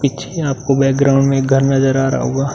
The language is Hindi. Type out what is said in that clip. पीछे आपको बैकग्रॉउंड में एक घर नज़र आ रहा होगा।